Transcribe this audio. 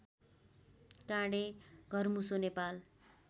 काँडे घरमुसो नेपाल